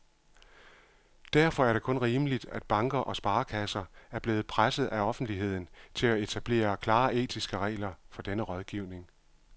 Derfor er det kun rimeligt, at banker og sparekasser er blevet presset af offentligheden til at etablere klare etiske regler for denne rådgivning.